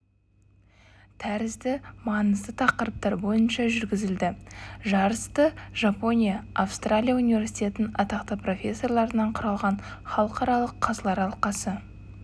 тәрізді маңызды тақырыптар бойынша жүргізілді жарысты жапония австралия университеттерінің атақты профессорларынан құралған халықаралық қазылар алқасы